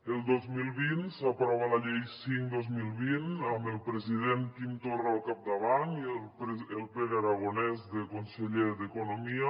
el dos mil vint s’aprova la llei cinc dos mil vint amb el president quim torra al capdavant i el pere aragonès de conseller d’economia